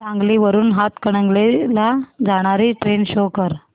सांगली वरून हातकणंगले ला जाणारी ट्रेन शो कर